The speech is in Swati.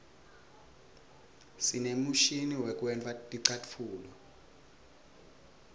sinemishini yekwenta ticatfulo